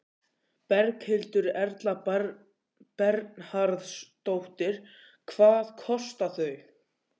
Berghildur Erla Bernharðsdóttir: Hvað kosta þau?